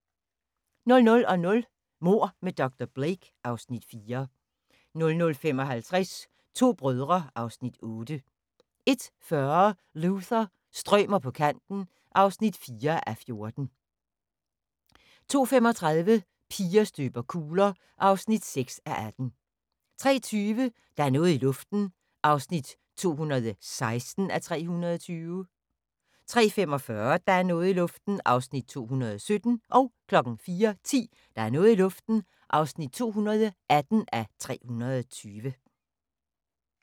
00:00: Mord med dr. Blake (Afs. 4) 00:55: To brødre (Afs. 8) 01:40: Luther – strømer på kanten (4:14) 02:35: Piger støber kugler (6:18) 03:20: Der er noget i luften (216:320) 03:45: Der er noget i luften (217:320) 04:10: Der er noget i luften (218:320)